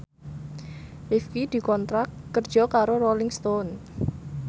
Rifqi dikontrak kerja karo Rolling Stone